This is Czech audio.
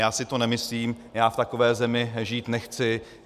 Já si to nemyslím, já v takové zemi žít nechci.